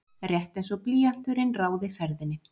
Rétt einsog blýanturinn ráði ferðinni.